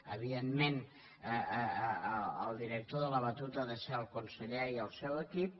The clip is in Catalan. evidentment el director de la batuta ha de ser el conseller i el seu equip